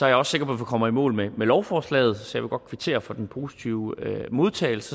jeg også sikker på vi kommer i mål med lovforslaget så jeg vil godt kvittere for den positive modtagelse